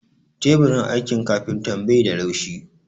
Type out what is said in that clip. Teburin aikin kafintan bai da laushi